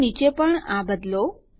અહીં નીચે પણ આ બદલો